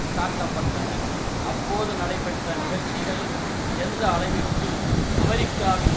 காட்ட பட்டன அப்போது நடைபெற்ற நிகழ்ச்சிகள் எந்த அளவிற்கு அமெரிக்காவின்